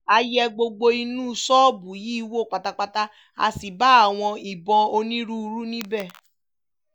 a yẹ gbogbo inú ṣọ́ọ̀bù yìí wò pátápátá a sì bá àwọn ìbọn onírúurú níbẹ̀